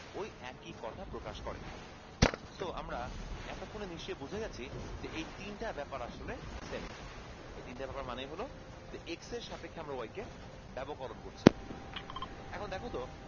ওই একই কথা প্রকাশ করে so আমরা এতক্ষনে নিশ্চই বুঝে গেসি এই তিনটা ব্যাপার আসলে same ই এই তিনটা ব্যাপার মানে হলো x সাপেক্ষে আমরা y কে ব্যাবকনল করছি